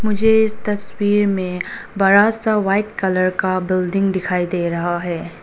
मुझे इस तस्वीर में बड़ा सा व्हाइट कलर का बिल्डिंग दिखाई दे रहा है।